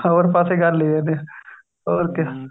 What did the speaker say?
ਹੋਰ ਪਾਸੇ ਗੱਲ ਲੈ ਜਾਨੇ ਆ ਹੋਰ ਕਿਆ